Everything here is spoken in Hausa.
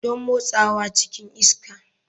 Don motsawa cikin iska.